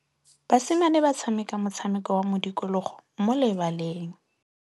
Basimane ba tshameka motshameko wa modikologô mo lebaleng.